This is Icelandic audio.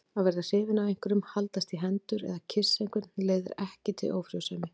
Að verða hrifinn af einhverjum, haldast í hendur eða kyssa einhvern leiðir ekki til ófrjósemi.